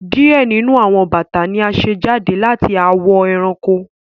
diẹ nínú àwọn bata ní a ṣe jáde lati awọ eranko.